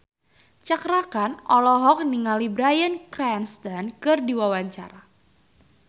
Cakra Khan olohok ningali Bryan Cranston keur diwawancara